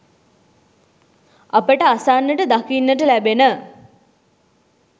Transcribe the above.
අපට අසන්නට දකින්නට ලැබෙන